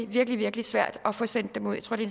virkelig virkelig svært at få sendt dem ud jeg tror det